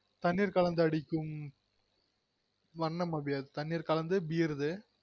தண்ணீர் கலந்து அடிக்கும் வண்ணம் அது தண்ணீர் கலந்து பீருது